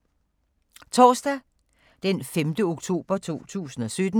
Torsdag d. 5. oktober 2017